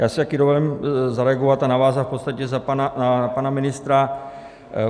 Já si také dovolím zareagovat a navázat v podstatě na pana ministra.